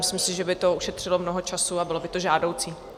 Myslím si, že by to ušetřilo mnoho času a bylo by to žádoucí.